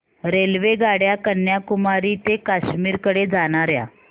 रेल्वेगाड्या कन्याकुमारी ते काश्मीर कडे जाणाऱ्या